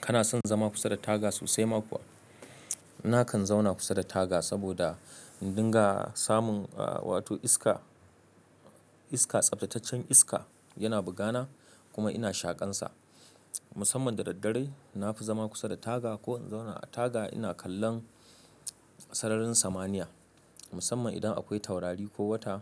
Kana son zama kusa da taga sosai ma kuwa? Nakan zauna kusa da taga saboda in dinga samun, ah, wato iska. Iska, tsaftataccen iska yana bugana kuma ina shaƙansa. Musamman da daddare, na fi zama kusa da taga ko in zauna a taga ina kallon sararin samaniya. Musamman idan akwai taurari ko wata,